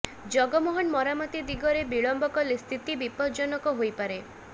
ଜଗମୋହନ ମରାମତି ଦିଗରେ ବିଳମ୍ବ କଲେ ସ୍ଥିତି ବିପଦଜନକ ହୋଇପାରେ